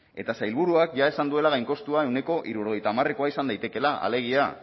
eta sailburuak jada esan duela gainkostua ehuneko hirurogeita hamarekoa izan daitekeela alegia